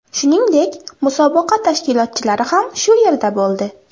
Shuningdek, musobaqa tashkilotchilari ham shu yerda bo‘ldi.